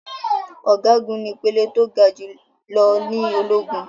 Ọ̀gágun ní ìpele tó ga jù lọ ní ológun.